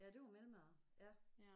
Ja det var mellemmad ja